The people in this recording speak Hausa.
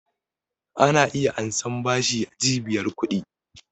Ana iya ansan bashi a cibiyar ƙudi